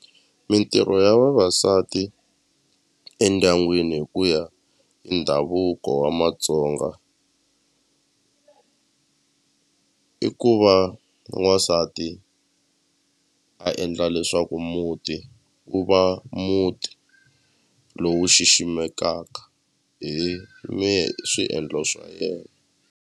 Mintirho ya vavasati endyangwini hi ku ya hi ndhavuko wa Matsonga i ku va n'wansati a endla leswaku muti wu va muti lowu xiximekaka hi hi swiendlo swa yena.